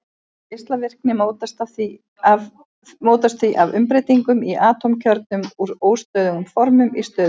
Geislavirkni mótast því af umbreytingum í atómkjörnum úr óstöðugum formum í stöðug form.